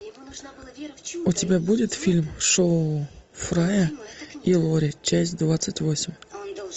у тебя будет фильм шоу фрая и лори часть двадцать восемь